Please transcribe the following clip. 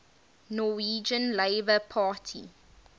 norwegian labour party